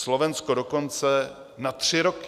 Slovensko dokonce na tři roky.